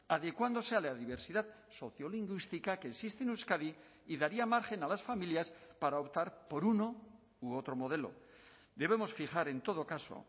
adecuándose a la diversidad sociolingüística que existe en euskadi y daría margen a las familias para optar por uno u otro modelo debemos fijar en todo caso